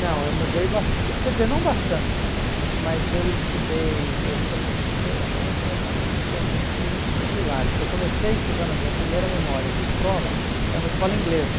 Não, eu mudei bas, quer dizer, não bastante, mas eu estudei, eu comecei, aliás, ah isso é muito muito hilário, porque eu comecei estudando, a minha primeira memória de escola era uma escola inglesa.